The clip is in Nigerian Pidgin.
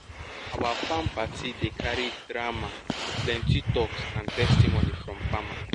our farm party dey carry drama plenty talks and testimonies from farmer